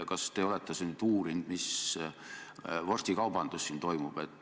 Kas te olete uurinud, mis vorstikaubandus siin toimub?